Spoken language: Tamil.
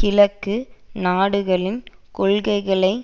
கிழக்கு நாடுகளின் கொள்கைகளை